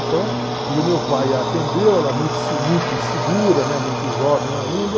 Então, e o meu pai a atendeu, ela muito muito insegura, muito jovem ainda,